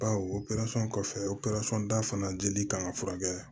Bawo operasɔn kɔfɛ operasɔn da fana jeli kan ka furakɛ